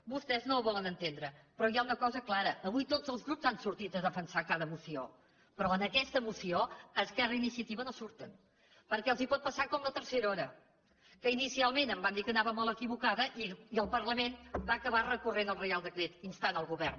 vostès no ho volen entendre però hi ha una cosa clara avui tots els grups han sortit a defensar cada moció però en aquesta moció esquerra i iniciativa no surten perquè els pot passar com amb la tercera hora que inicialment em van dir que anava molt equivocada i el parlament va acabar recorrent contra el reial decret que instava el govern